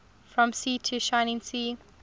from sea to shining sea